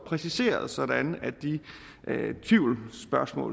præciseret sådan at den tvivl